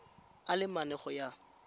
a le mane go ya